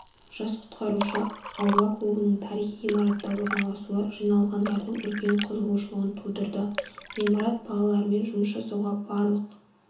жас құтқарушы аула клубының тарихи ғимаратта орналасуы жиналғандардың үлкен қызығушылығын тудырды ғимарат балалармен жұмыс жасауға барлық